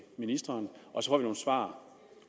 ministeren og så nogle svar